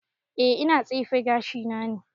E ina tsefe gashi na ne